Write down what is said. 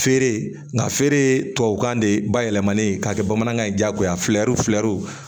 Feere nga feere tubabukan de bayɛlɛmani k'a kɛ bamanankan ye diyagoya fuyɛriw firinw